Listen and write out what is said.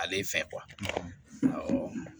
Ale fɛn